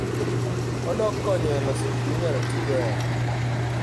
Odok konyo e loso gik minyalo tigo e ot.